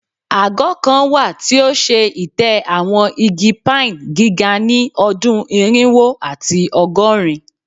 Agọ kan wa ti o ṣe itẹ awọn igi pine giga ni ọdun irinwo ati ọgọrin